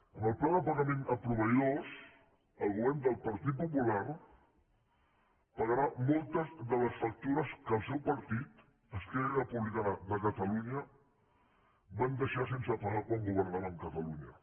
amb el pla de pagament a proveïdors el govern del partit popular paga rà moltes de les factures que el seu partit esquerra republicana de catalunya va deixar sense pagar quan governaven catalunya